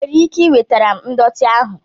Ị nwere ike iwetara m ndọtị ahụ?